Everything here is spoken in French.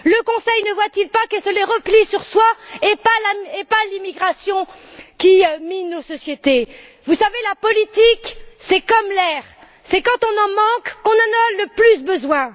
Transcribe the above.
Le Conseil ne voit il pas que c'est le repli sur soi et pas l'immigration qui mine nos sociétés? Vous savez, la politique, c'est comme l'air. C'est quand on en manque qu'on en a le plus besoin.